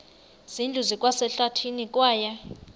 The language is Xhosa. zindlu zikwasehlathini kwaye